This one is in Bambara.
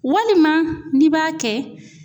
Walima n'i b'a kɛ